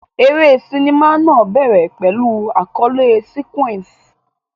Eré sinimá náà bẹ̀rẹ̀ pẹ̀lú àkọlé sequence.